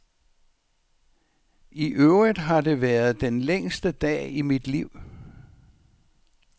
I øvrigt har det været den længste dag i mit liv.